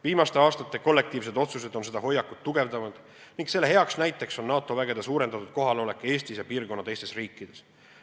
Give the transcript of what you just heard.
Viimaste aastate kollektiivsed otsused on seda hoiakut tugevdanud ning selle hea näide on NATO üksuste suurendatud kohalolek Eestis ja piirkonna teistes riikides.